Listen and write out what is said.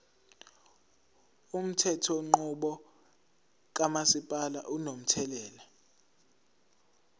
umthethonqubo kamasipala unomthelela